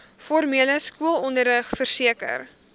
formele skoolonderrig verseker